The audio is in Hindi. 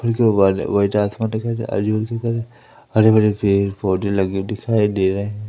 आजू बाजू हरे हरे भरे पेड़ पौधे लगे दिखाई दे रहे हैं।